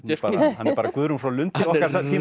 hann er bara Guðrún frá Lundi okkar tíma